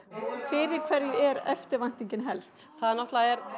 fyrir hverju er eftirvæntingin helst það er náttúrulega